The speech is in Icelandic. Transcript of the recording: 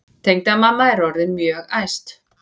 Tengdamamma er orðin mjög æst.